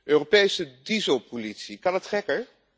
Europese dieselpolitie, kan het gekker?